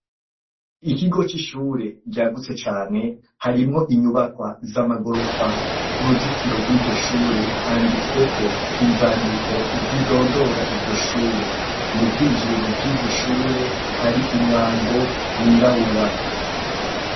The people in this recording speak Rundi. Ikigo c'ishure ryagutse cane, harimwo inyubakwa iz'amagorofa, kuruzitiro rw'iryo shure handitsweko inzandiko zindondora iryo shure, mubwinjiriro bw'iryoshure Hari umwango w'irabura.